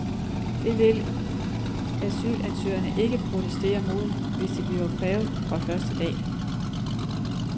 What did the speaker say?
Det vil asylsøgerne ikke protestere mod, hvis det bliver krævet fra første dag.